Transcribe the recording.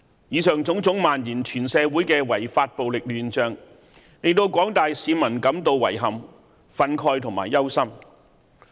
以上種種漫延全社會的違法暴力亂象，令廣大市民感到遺憾、憤慨及憂心。